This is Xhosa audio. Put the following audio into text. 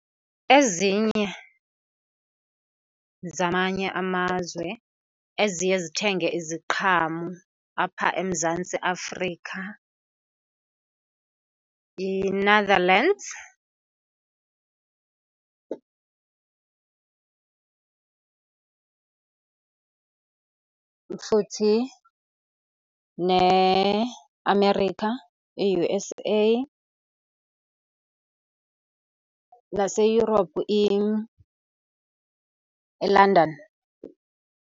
Ezinye zamanye amazwe eziye zithenge iziqhamo apha eMzantsi Afrika yiNetherlands, futhi neAmerica i-U_S_A, naseEurope eLondon.